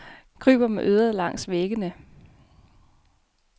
Kryber med øret langs væggene.